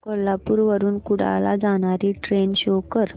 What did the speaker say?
कोल्हापूर वरून कुडाळ ला जाणारी ट्रेन शो कर